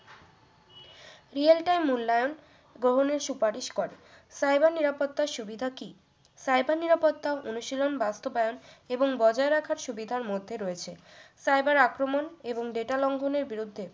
real time মূল্যায়ন গ্রহণের সুপারিশ করে cyber নিরাপত্তা সুবিধা কি cyber নিরাপত্তা অনুশীলন বাস্তবায়ন এবং বজায় রাখার সুবিধার মধ্যে রয়েছে cyber আক্রমণ এবং data লঙ্ঘনের বিরুদ্ধে